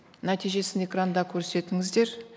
нәтижесін экранда көрсетіңіздер